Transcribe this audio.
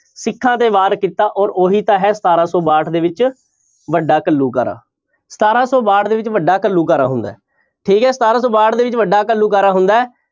ਸਿੱਖਾਂ ਤੇ ਵਾਰ ਕੀਤਾ ਔਰ ਉਹੀ ਤਾਂ ਹੈ ਸਤਾਰਾਂ ਸੌ ਬਾਹਠ ਦੇ ਵਿੱਚ ਵੱਡਾ ਘੱਲੂਘਾਰਾ, ਸਤਾਰਾਂ ਸੌ ਬਾਹਠ ਦੇ ਵਿੱਚ ਵੱਡਾ ਘੱਲੂਘਾਰਾ ਹੁੰਦਾ ਹੈ, ਠੀਕ ਹੈ ਸਤਾਰਾਂ ਸੌ ਬਾਹਠ ਦੇ ਵਿੱਚ ਵੱਡਾ ਘੱਲੂਘਾਰਾ ਹੁੰਦਾ ਹੈ।